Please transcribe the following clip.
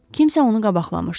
Kimsə onu qabaqlamışdı.